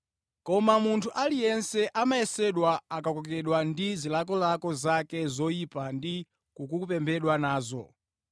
Koma munthu aliyense amayesedwa akakokedwa ndi zilakolako zake zoyipa ndi kukopedwa nazo.